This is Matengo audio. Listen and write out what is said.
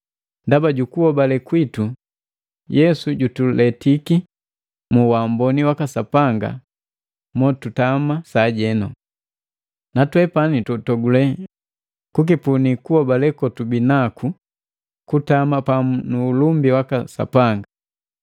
Ndaba jukuhobale kwitu, Yesu jutuletiki mu waamboni waka Sapanga mo tutama sajenu. Natwepani tutogule kukipuni kuhobale kotubi naku kutama pamu nu ulumbi waka Sapanga!